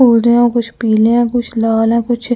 कुछ पीले हैं कुछ लाल हैं कुछ हम अ--